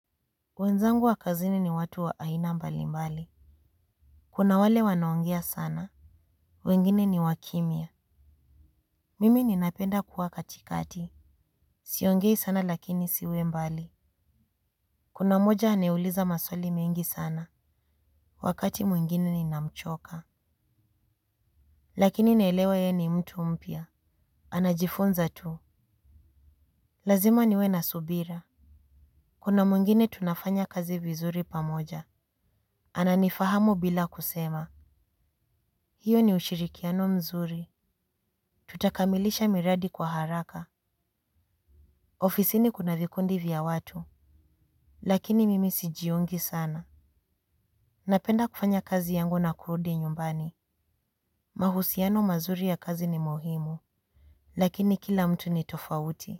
Wenzangu wa kazini ni watu wa aina mbali mbali. Kuna wale wanaongea sana. Wengine ni wakimia. Mimi ninapenda kuwa katikati. Siongei sana lakini siwe mbali. Kuna moja anayeuliza maswali mengi sana. Wakati mwingine ninamchoka. Lakini naelewa ye ni mtu mpia. Anajifunza tu. Lazima niwe nasubira. Kuna mwingine tunafanya kazi vizuri pamoja. Ananifahamu bila kusema. Hiyo ni ushirikiano mzuri. Tutakamilisha miradi kwa haraka. Ofisini kuna vikundi vya watu. Lakini mimi sijiungi sana. Napenda kufanya kazi yangu na kurudi nyumbani. Mahusiano mazuri ya kazi ni muhimu. Lakini kila mtu ni tofauti.